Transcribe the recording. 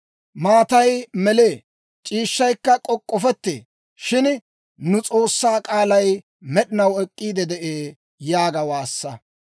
Maatay melee; c'iishshaykka k'ok'k'ofettee; shin nu S'oossaa k'aalay med'inaw ek'k'iide de'ee» yaaga waassa.